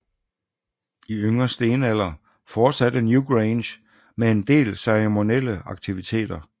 I yngre stenalder fortsatte Newgrange med en del ceremonielle aktiviteter